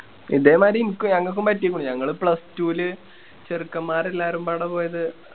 ഇതേ മാരി ഇനിക്കും ഞങ്ങക്കും പറ്റിക്കണ് ഞങ്ങള് plus two ല് ചെറുക്കൻമ്മാരെല്ലാരുംബാടെ പോയത്